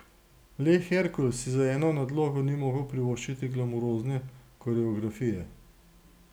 Le Herkul si z eno nadlogo ni mogel privoščiti glamurozne koreografije.